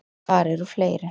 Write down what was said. Hvar eru fleiri.